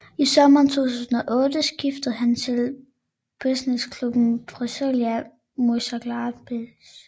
I sommeren 2008 skiftede han til bundesligaklubben Borussia Mönchengladbach